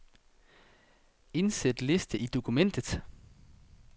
Indsæt liste i dokumentet.